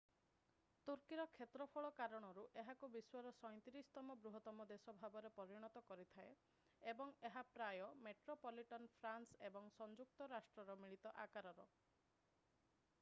ତୁର୍କୀର କ୍ଷେତ୍ରଫଳ କାରଣରୁ ଏହାକୁ ବିଶ୍ଵର 37ତମ ବୃହତ୍ତମ ଦେଶ ଭାବରେ ପରିଣତ କରିଥାଏ ଏବଂ ଏହା ପ୍ରାୟ ମେଟ୍ରୋପଲିଟନ୍ ଫ୍ରାନ୍ସ ଏବଂ ସଂଯୁକ୍ତ ରାଷ୍ଟ୍ରର ମିଳିତ ଆକାରର